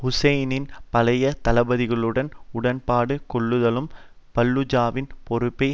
ஹுசைனின் பழைய தளபதிகளுடன் உடன்பாடு கொள்ளுதலும் பல்லுஜாவின் பொறுப்பை